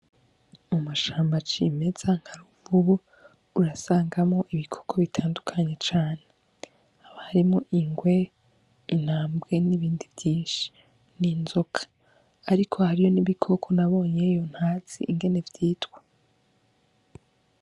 Mumushambo acimeza nkaruva ubo urasangamo ibikoko bitandukanye cane aba harimo ingwe intambwe n'ibindi vyinshi n'inzoka, ariko hariyo n’ibikoko nabonyeyo ntatsi ingene vyitwa.